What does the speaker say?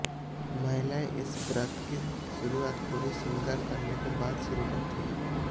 महिलाएं इस व्रत की शुरुआत पूरे श्रृगांर करने के बाद शुरू करें